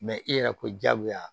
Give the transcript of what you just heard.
i yɛrɛ ko jagoya